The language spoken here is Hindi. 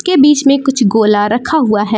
के बीच में कुछ गोला रखा हुआ है।